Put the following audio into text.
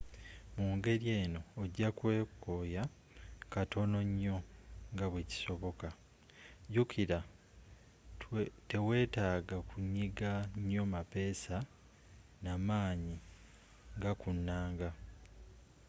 mu ngeri eno ojja kweekooya katono nnyo nga bwe kisoboka jjukira teweetaaga kunyiga nnyo mapeesa na maanyi nga ku nnanga